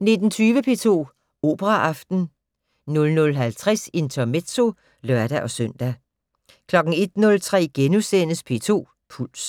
19:20: P2 Operaaften 00:50: Intermezzo (lør-søn) 01:03: P2 Puls *